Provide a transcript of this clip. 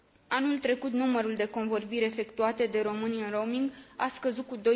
Anul trecut, numărul de convorbiri efectuate de români în roaming a scăzut cu